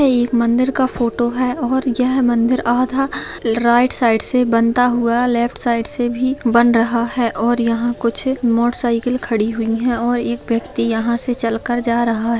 ये एक मंदिर का फोटो है और ये मंदिर आधा राइट साइड से बनता हुआ लेफ्ट साइड से भी बन रहा है और यहां कुछ अ मोटर साइकल खड़ी हुई है और एक व्यक्ति यहां से चल कर के जा रहा है।